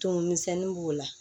Tumu misɛnnin b'o la